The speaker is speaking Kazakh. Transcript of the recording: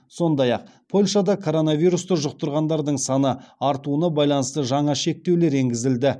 сондай ақ польшада коронавирусты жұқтырғандардың саны артуына байланысты жаңа шектеулер енгізілді